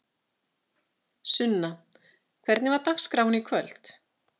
Sunna: Hvernig var dagskráin í kvöld?